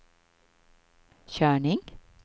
körning